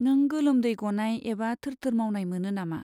नों गोलोमदै गनाय एबा थोर थोर मावनाय मोनो नामा?